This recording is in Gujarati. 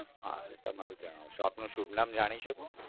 હા તમારું આપનું શુભ નામ જાણી શકુ.